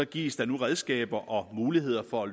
gives der nu redskaber og muligheder for at